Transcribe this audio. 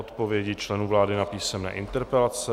Odpovědi členů vlády na písemné interpelace